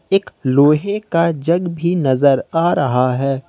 एक लोहे का जग भी नजर आ रहा है।